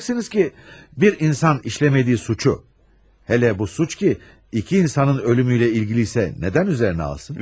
Deyəcəksiniz ki, bir insan işləmədiyi suçu hələ bu suç ki, iki insanın ölümüylə ilgili isə nədən üzərinə alsın?